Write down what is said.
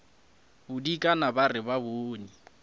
bodikana ba re ba bone